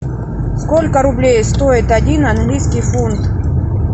сколько рублей стоит один английский фунт